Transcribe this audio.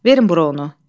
Verin bura onu.